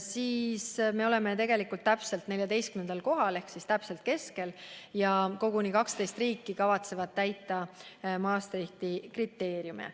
siis me oleme tegelikult 14. kohal ehk täpselt keskel ja koguni 12 riiki kavatsevad täita Maastrichti kriteeriume.